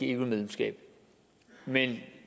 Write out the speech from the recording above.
eu medlemskab men